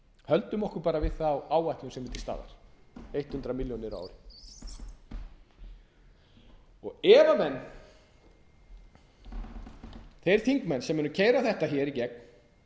höldum okkur bara við þá áætlun sem er til staðar hundrað milljónir á ári ef þeir þingmenn sem munu keyra þetta í gegn